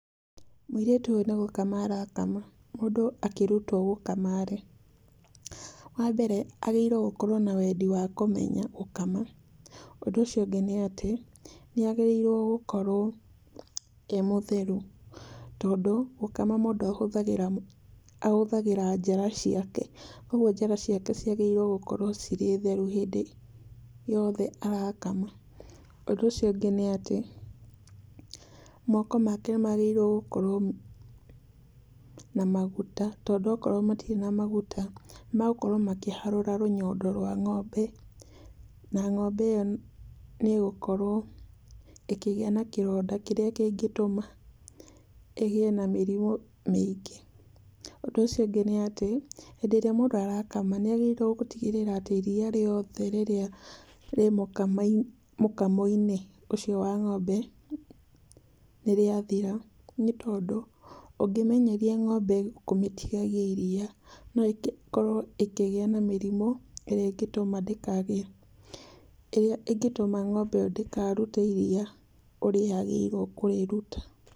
Mũirĩtu ũyũ nĩ gũkama arakama. Mũndũ akĩrutwo gũkama-rĩ, wambere agĩrĩirwo gũkorwo na wendi wa kũmenya gũkama. Ũndũ ũcio ũngĩ nĩ atĩ, nĩagĩrĩirwo nĩ gũkorwo e mũtheru, tondũ gũkama mũndũ ahũthagĩra ahũthagĩra njara ciake. Koguo njara ciake ciagĩrĩirwo gũkorwo cirĩ theru hĩndĩ yothe arakama. Ũndũ ũcio ũngĩ nĩ atĩ, moko make nĩmagĩrĩirwo nĩ gũkorwo na maguta. Tondũ akorwo matirĩ na maguta nĩmagũkorwo makĩharũra rũnyondo rwa ng'ombe, na ng'ombe ĩyo nĩĩgũkorwo ĩkĩgĩa na kĩronda kĩrĩa kĩngĩtũma ĩgĩe na mĩrimũ mĩingĩ. Ũndũ ũcio ũngĩ nĩ atĩ, hĩndĩ ĩrĩa mũndũ arakama nĩagĩrĩirwo gũtigĩrĩra atĩ iria rĩothe rĩrĩa rĩ mũkama mũkamo-inĩ ũcio wa ng'ombe nĩrĩathira, nĩ tondũ ũngĩmenyeria ng'ombe kũmĩtigagia iria no ĩkorwo ĩkĩgĩa na mĩrimũ ĩrĩa ĩngĩtũma ndĩkagĩe, ĩrĩa ĩngĩtũma ng'ombe ĩyo ndĩkarute iria ũrĩa yagĩrĩirwo kũrĩruta.